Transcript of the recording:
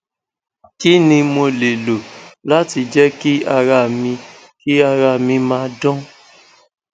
kí ni mo lè lo láti jẹ kí ara mi kí ara mi ma dan